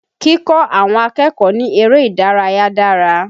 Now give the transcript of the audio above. Kíkọ́ àwọn akẹ́kọ̀ọ́ ní eré ìdárayà dára